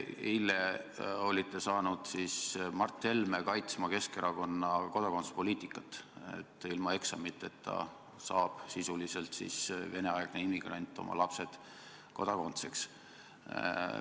Eile saite Mart Helme kaitsma Keskerakonna kodakondsuspoliitikat, mille kohaselt ilma eksamiteta saab Vene-aegne immigrant oma lapsed Eesti kodanikeks.